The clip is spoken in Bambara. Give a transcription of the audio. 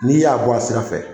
N'i y'a bɔ a sira fɛ,